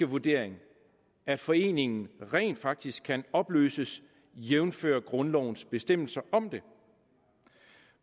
vurdering at foreningen rent faktisk kan opløses jævnfør grundlovens bestemmelser om det